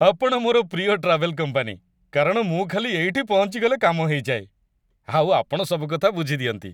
ଆପଣ ମୋର ପ୍ରିୟ ଟ୍ରାଭେଲ୍ କମ୍ପାନୀ କାରଣ ମୁଁ ଖାଲି ଏଇଠି ପହଞ୍ଚିଗଲେ କାମ ହେଇଯାଏ। ଆଉ ଆପଣ ସବୁ କଥା ବୁଝିଦିଅନ୍ତି।